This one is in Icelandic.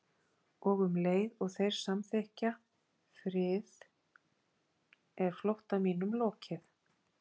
Og um leið og þeir samþykkja frið er flótta mínum lokið.